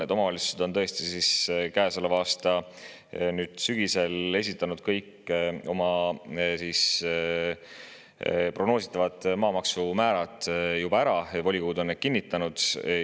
Kõik omavalitsused on käesoleva aasta sügisel esitanud oma prognoositavad maamaksumäärad juba ära, volikogud on need kinnitanud.